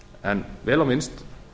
en vel á minnst